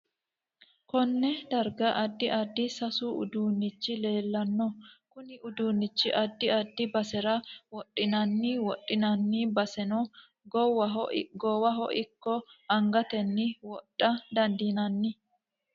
Konne darga addi addi seesu uduunichi leelanno konne uduunicho addi adfi basera wodhinanni wodhinanni basenno goowaho ikko angateno wodha dandiinanni